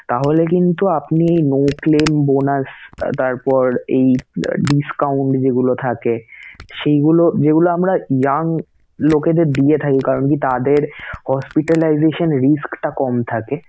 তাহলে কিন্তু আপনি no claim bonus তারপর এই discount যেগুলা থাকে সেগুলো যেগুলো আমরা young লোকদের দিয়ে থাকি কারন কি তাদের hospitilization risk টা কম থাকে